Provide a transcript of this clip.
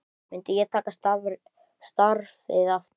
Myndi ég taka starfið aftur?